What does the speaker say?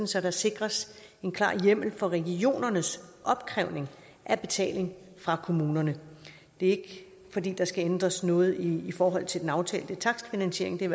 så der sikres en klar hjemmel for regionernes opkrævning af betaling fra kommunerne det er ikke fordi der skal ændres noget i forhold til den aftalte takstfinansiering det er